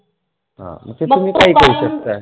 हां फक्त कारण